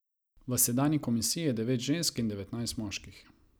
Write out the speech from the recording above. V sedanji komisiji je devet žensk in devetnajst moških.